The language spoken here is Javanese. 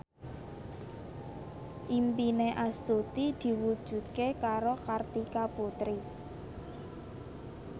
impine Astuti diwujudke karo Kartika Putri